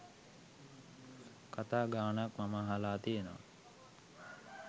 කතා ගාණක් මම අහල තියෙනවා.